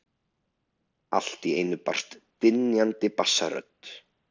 Allt í einu heyrist drynjandi bassarödd.